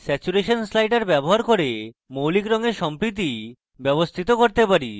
আমরা saturation slider ব্যবহার করে মৌলিক রঙের সম্পৃক্তি ব্যবস্থিত করতে পারি